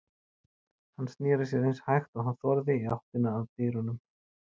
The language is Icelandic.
Hann sneri sér eins hægt og hann þorði í áttina að dyrunum.